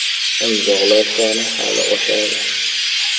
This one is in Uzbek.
Imzolar soni hali oshadi.